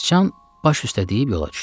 Sıcan baş üstə deyib yola düşdü.